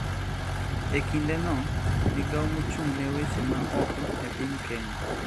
E kindeno, migao mochung`ne weche ma oko e piny Kenya